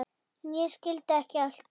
En ég skil ekki allt.